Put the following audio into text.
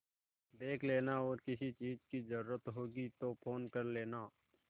देख लेना और किसी चीज की जरूरत होगी तो फ़ोन कर लेना